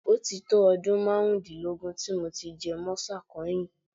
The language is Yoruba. Ó ti tó ọdún márùndínlógún tí mo ti jẹ mọ́sà kẹ́yìn